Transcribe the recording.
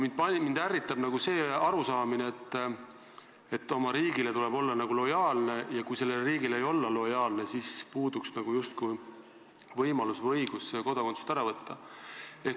Mind ärritab see arusaamine, et oma riigile tuleb olla lojaalne ja kui sellele riigile ei olda lojaalne, siis justkui puuduks võimalus või õigus kodakondsust ära võtta.